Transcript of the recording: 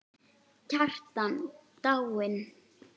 Kjartan dáinn!